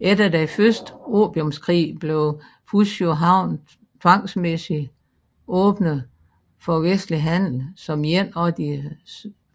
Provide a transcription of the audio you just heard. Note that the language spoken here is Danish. Efter den første opiumskrig blev Fuzhou havn tvangsmæssigr åbnet for vestlig handel som en af de